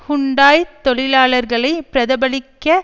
ஹுண்டாய்த் தொழிலாளர்களை பிரதபலிக்க